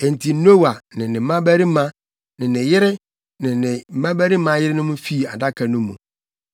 Enti Noa ne ne mmabarima ne ne yere ne ne mmabarima yerenom fii Adaka no mu.